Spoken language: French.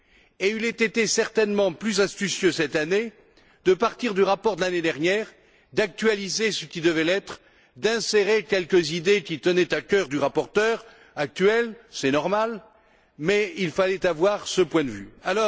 Et il eût été certainement plus astucieux cette année de partir du rapport de l'année dernière, d'actualiser ce qui devait l'être, d'insérer quelques idées qui tenaient à cœur au rapporteur actuel c'est normal mais il fallait avoir cette démarche.